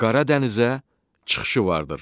Qara dənizə çıxışı vardır.